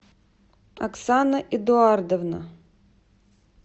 оксана эдуардовна